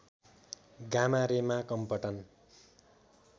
gamma रेमा Compton